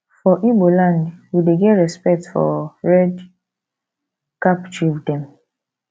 for ibo land we dey get respects for red cap chief dem